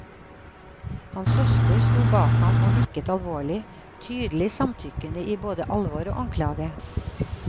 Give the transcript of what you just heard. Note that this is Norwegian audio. Hans søster sto bak ham og nikket alvorlig, tydelig samtykkende i både alvor og anklage.